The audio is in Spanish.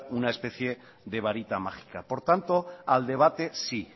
una especie de varita mágica por tanto al debate sí